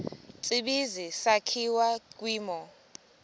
tsibizi sakhiwa kwimo